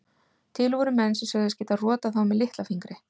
Til voru menn sem sögðust geta rotað þá með litla fingri.